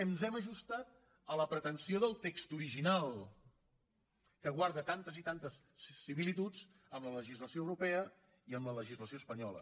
ens hem ajustat a la pretensió del text original que guarda tantes i tantes similituds amb la legislació europea i amb la legislació espanyola